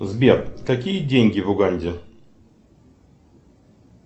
сбер какие деньги в уганде